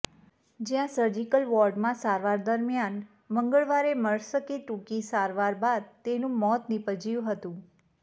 જ્યાં સજીર્કલ વોર્ડમાં સારવાર દરમિયાન મંગળવારે મળસ્કે ટૂંકી સારવાર બાદ તેનું મોત નિપજ્યું હતું